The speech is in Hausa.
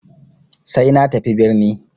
Sai na tafi birni.